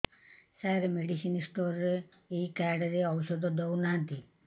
ସାର medicine store ରେ ଏଇ card ରେ ଔଷଧ ଦଉନାହାନ୍ତି